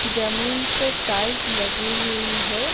जमीन पे टाइल्स लगी हुई है।